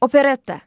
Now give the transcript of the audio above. Operetta.